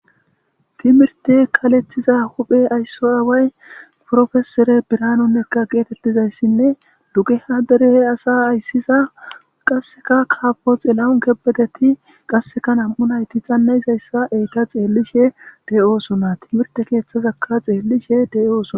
Timirite ayiso huphe aawayi professor birahanu nega getetidayisinne dugeha derre assa ayisida doctor tilahuni kebede getetidayisati namu'u nayit xana'idayssa beyishe dossona timirite kethazaka xelishe deyosona